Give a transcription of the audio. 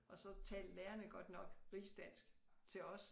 Og så talte lærerne godt nok rigsdansk til os